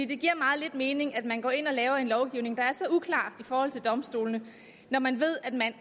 det giver meget lidt mening at man går ind og laver en lovgivning der er så uklar i forhold til domstolene når man ved at man